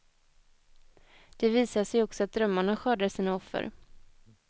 Det visar sig också att drömmarna skördar sina offer.